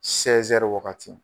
wagati.